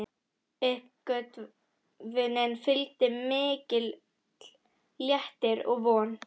Uppgötvuninni fylgdi mikill léttir og von.